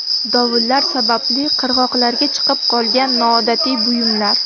Dovullar sababli qirg‘oqlarga chiqib qolgan noodatiy buyumlar.